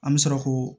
An bɛ sɔrɔ k'o